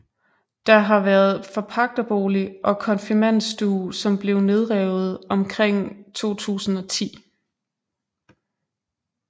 Der har været forpagtebolig og konfirmandstue som blev nedrevet omkring 2010